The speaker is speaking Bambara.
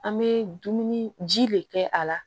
An bɛ dumuni ji de kɛ a la